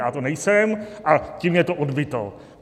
Já to nejsem, ale tím je to odbyto.